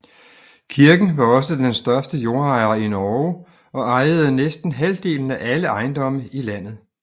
Kirken var også den største jordejer i Norge og ejede næsten halvdelen af alle ejendomme i landet